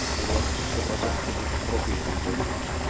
с вероятностью сто процентов ты будешь в толпе этих зомби